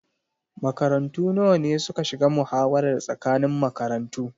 Makarantu nawa ne suka shiga muhawarar tsakanin makarantu?